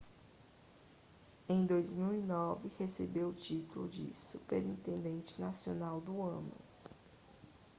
em 2009 recebeu o título de superintendente nacional do ano